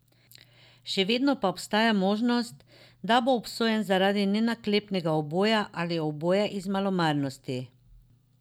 Še vedno pa obstaja možnost, da bo obsojen zaradi nenaklepnega uboja ali uboja iz malomarnosti.